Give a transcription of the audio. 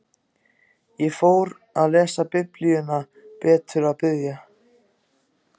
Ég fór að lesa Biblíuna betur og biðja.